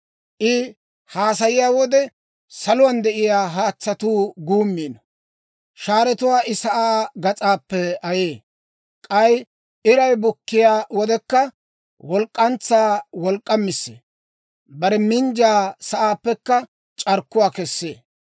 I haasayiyaa wode, saluwaan de'iyaa haatsatuu guummiino. Shaaratuwaa I sa'aa gas'aappe ayee. K'ay iray bukkiyaa wodekka, walk'k'antsaa wolk'k'amissee. Bare minjjiyaa sa'aappekka c'arkkuwaa kessee.